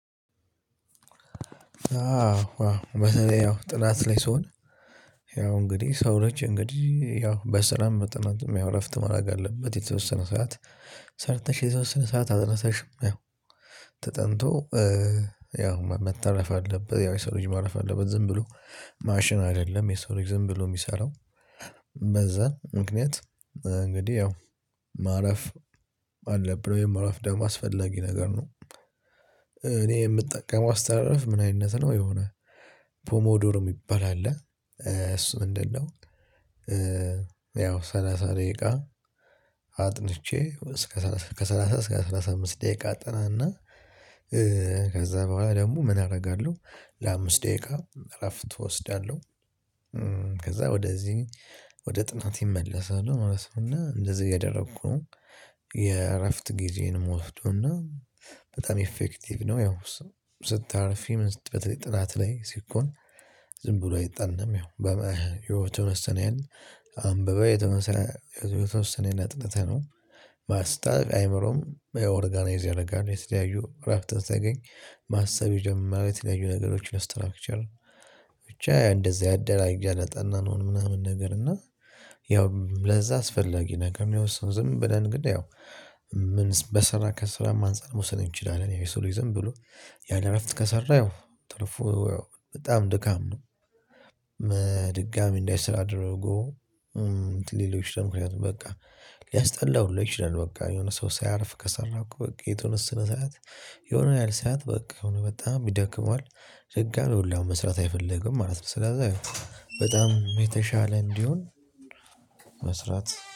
አዎ አዎ በተለይ ያው ጥናት ላይ ስሆን ያው እንግዲህ ሰው ልጅ እንግዲህ ያው በስራም በጥናትም ያው እረፍት ማድረግ አለበት የተወሰነ ሰዓት ሰርተሽ የተወሰነ ሰዓት አጥንተሽም ያው ተጠንቶ ያው መተረፍ አለበት ያው የሰሎጅ ማረፍ አለበት ዝም ብሎ ማሽን አይደለም የሰው ዝም ብሎ የሚሰራው በዛ ምክንያት እንግዲህ ያው ማረፍ አለ ብሎ የማረፍ ደም አስፈላጊ ነገር ነው። እኔ የምጠቀም አስተራረፍ አስተራረፍ ምን አይነት ነው የሆነ ፖሞዶርም ይባላል እሱ ምንድነው? ያው ሰላሳ ደቂቃ አጥንቼ እስከ ሰላሳ እስከ ሰላሳ አምስት ደቂቃ አጠናና ከዛ በኋላ ደግሞ ምን አደርጋለሁ ለአምስት ደቂቃ እረፍት እወስዳለሁ። ከዛ ወደዚህ ወደ ጥናት ይመለሳሉ ራሱ እና እንደዚህ ያደረኩት የእረፍት ጊዜን ምወስደው እና በጣም ኢፌክቲቭ ነው። ያው ስታርፊ መንገድ በተለይ ጥናት ላይ ሲኮን ዝም ብሎ አይጠናም ያው በመ ህይወቱ መሰነን አንብበህ የተመሰለ የተመሰለ ሰኔን አጥንተህ ነው። ማስታወቅ አይምሮም ኦርጋናይዝ ያደርጋል የተለያዩ ምዕራፍት እንደሚያገኝ ማሰብ የጀመረ የተለያዩ ነገሮች ለስትራክቸር ብቻ እንደዚህ አደራጃ ለጠናነው ምናምን ነገር እና ያው ለዛ አስፈላጊ ነገር የሚያወስደው ዝም ብለን ግን ያው ምን በስራ ከስራም አንፃር መውሰድ እንችላለን። ያው ይሰሩኝ ዝም ብሎ ያለ እረፍት ከሰራህ ትርፉ በጣም ድካም ነው። ድጋሚ እንዳይሰራ አድርጎ ሌሎች ደግሞ ምክንያቱም በቃ ሊያስጠላው ይችላል በቃ የሆነ ሰው ሳያርፍ ከሰራኩ በቃ የተወሰነ ሰዓት የሆነ ያህል ሰዓት በቃ አሁን በጣም ይደክመዋል ዝግ አይደለም መስራት አይፈልግም ማለት ነው። ስለዚህ በጣም የተሻለ እንዲሆን መስራት